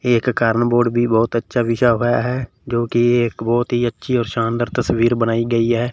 एक carrom board भी बहुत अच्छा बिछा हुआ है जो कि एक बहुत ही अच्छी और शानदार तस्वीर बनाई गई है।